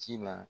Ci la